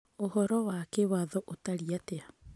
ũhoro wa kĩwatho ũtariĩ atĩa?